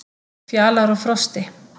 Fjalar og Frosti,